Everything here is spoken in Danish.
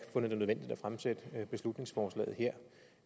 fundet det nødvendigt at fremsætte beslutningsforslaget her